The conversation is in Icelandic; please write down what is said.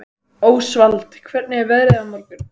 Ósvald, hvernig er veðrið á morgun?